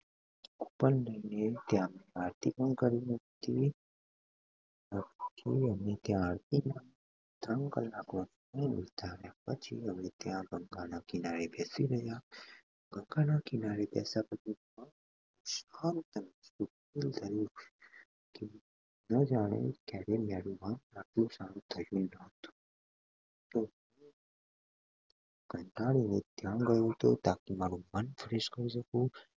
હમ કંટાળો